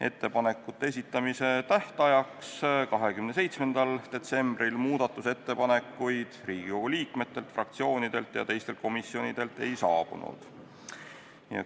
Ettepanekute esitamise tähtajaks 27. detsembril muudatusettepanekuid Riigikogu liikmetelt, fraktsioonidelt ega teistelt komisjonidelt ei saabunud.